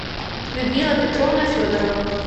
людмила петровна федорова